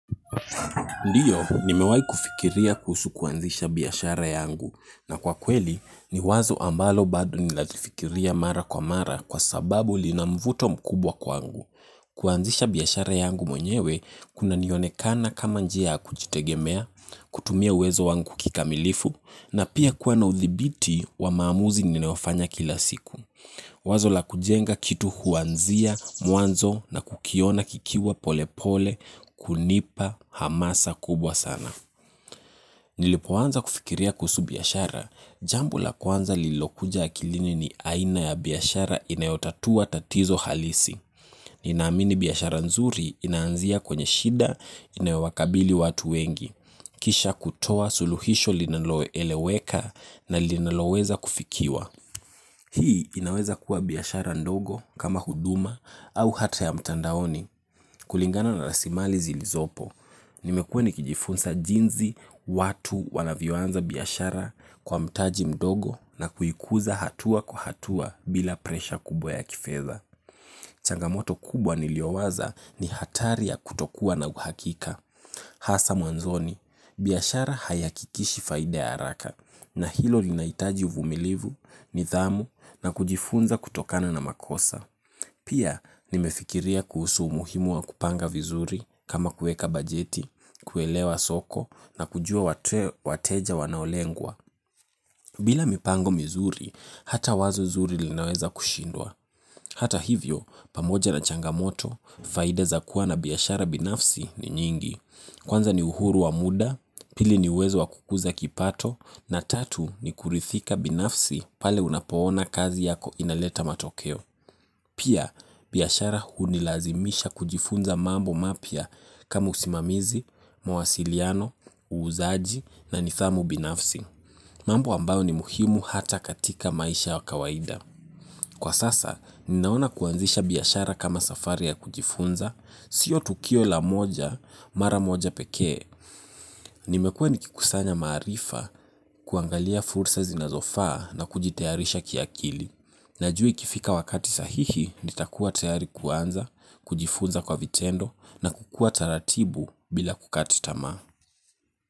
Ndiyo, nimewahi kufikiria kuhusu kuanzisha biashara yangu na kwa kweli ni wazo ambalo bado ninalifikiria mara kwa mara kwa sababu lina mvuto mkubwa kwangu. Kuanzisha biashara yangu mwenyewe, kunanionekana kama njia kujitegemea, kutumia uwezo wangu kikamilifu, na pia kuwa na uthibiti wa maamuzi ninaofanya kila siku. Wazo la kujenga kitu huanzia mwanzo na kukiona kikiwa pole pole kunipa hamasa kubwa sana. Nilipoanza kufikiria kuhusu biashara, jambo la kwanza lilokuja akilini ni aina ya biashara inayotatua tatizo halisi. Ninaamini biashara nzuri inaanzia kwenye shida inayowakabili watu wengi. Kisha kutoa suluhisho linaloeleweka na linaloweza kufikiwa. Hii inaweza kuwa biashara ndogo kama huduma au hata ya mtandaoni kulingana na rasilimali zilizopo. Nimekua nikijifunza jinsi watu wanavyoanza biashara kwa mtaji mdogo na kuikuza hatua kwa hatua bila presha kubwa ya kifedha. Changamoto kubwa niliowaza ni hatari ya kutokuwa na uhakika. Hasa mwanzoni, biashara haihakikishi faida ya haraka na hilo linahitaji uvumulivu, nidhamu na kujifunza kutokana na makosa. Pia nimefikiria kuhusu umuhimu wa kupanga vizuri kama kueka bajeti, kuelewa soko na kujua wateja wanaolengwa. Bila mipango mizuri, hata wazo zuri linaweza kushindwa. Hata hivyo, pamoja na changamoto, faida za kuwa na biashara binafsi ni nyingi. Kwanza ni uhuru wa muda, pili ni uwezo wa kukuza kipato, na tatu ni kuridhika binafsi pale unapoona kazi yako inaleta matokeo. Pia, biashara hunilazimisha kujifunza mambo mapya kama usimamizi, mawasiliano, uuzaji na nidhamu binafsi. Mambo ambao ni muhimu hata katika maisha ya kawaida. Kwa sasa, ninaona kuanzisha biashara kama safari ya kujifunza, sio tukio la moja, mara moja pekee. Nimekuwa nikikusanya maarifa kuangalia fursa zinazofaa na kujitarisha kiakili. Najui ikifika wakati sahihi nitakuwa tayari kuanza, kujifunza kwa vitendo na kukuwa taratibu bila kukata tamaa.